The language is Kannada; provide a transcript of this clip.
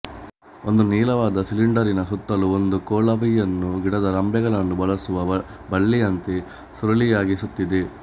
ಒಂದು ನೀಳವಾದ ಸಿಲಿಂಡರಿನ ಸುತ್ತಲೂ ಒಂದು ಕೊಳವಿಯನ್ನು ಗಿಡದ ರೆಂಬೆಗಳನ್ನು ಬಳಸುವ ಬಳ್ಳಿಯಂತೆ ಸುರುಳಿಯಾಗಿ ಸುತ್ತಿದೆ